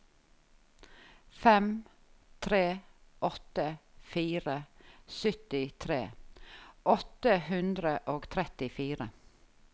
fem tre åtte fire syttitre åtte hundre og trettifire